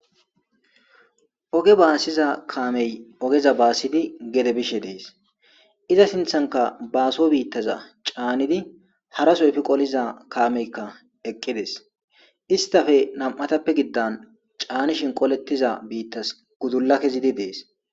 Ooge baasiza kaamey oogeza baassidi gedde bishe dees iza sinththankka baasso biittaza caannidii haraso eeffi qoliza kaameykka eqqides istappe nam'attappe giddanni caannishin qoletiza biittay guudulla kezidii dees.